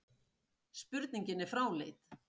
Spurningin er fráleit